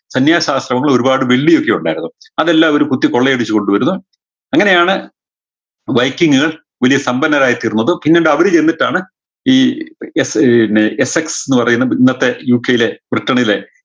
സന്യാസാശ്രമങ്ങൾ ഒരുപാട് വെള്ളിയൊക്കെ ഉണ്ടായിരുന്നു അതെല്ലാം അവര് കുത്തി കൊള്ളയടിച്ച് കൊണ്ട് വരുന്നു അങ്ങനെയാണ് വലിയ സമ്പന്നരായി തീർന്നത് പിന്നെന്താ അവര് ചെന്നിട്ടാണ് ഈ എഫ് ഏർ വിന്നെ FX പറയുന്നെ ഇന്നത്തെ UK യിലെ ബ്രിട്ടനിലെ